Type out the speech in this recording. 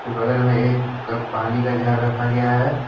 बगल में एक कप पानी का जार रखा गया है।